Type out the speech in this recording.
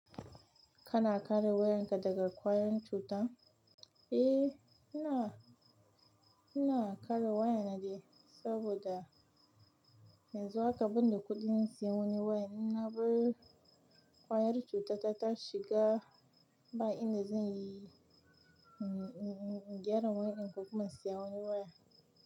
Kana kare wayanka daga ƙwayoyin cuta? Eh, ina ina kare wayana dai, saboda yanzu haka ban da kuɗin sayen wani wayan. Na bar anrike ta tat shiga ba ina zan yi, in gyara wayar ko kuma in siya wani waya.